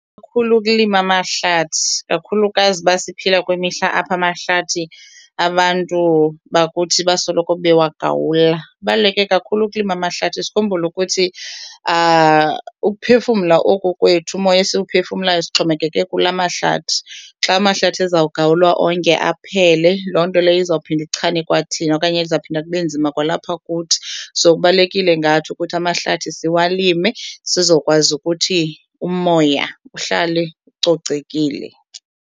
ukulima amahlathi, kakhulukazi uba siphila kwimihla apha amahlathi abantu bakuthi basoloko bewagawula. Kubaluleke kakhulu ukulima amahlathi sikhumbule ukuthi ukuphefumla oku kwethu, umoya esiwuphefumlayo, sixhomekeke kula mahlathi. Xa amahlathi ezawugawulwa onke aphele loo nto leyo izawuphinda ichane kwathina okanye izawuphinda kube nzima kwalapha kuthi, so kubalulekile ngathi ukuthi amahlathi siwalime sizokwazi ukuthi umoya uhlale ucocekile.